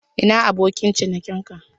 Ina abokin ciniki ka?